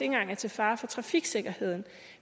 engang er til fare for trafiksikkerheden